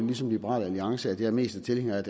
ligesom liberal alliance altså at jeg mest er tilhænger af